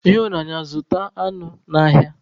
Ịhụnanya, zụta anụ n'ahịa.